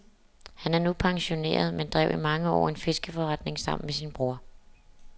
Han er nu pensioneret, men drev i mange år en fiskeforretning sammen med sin bror.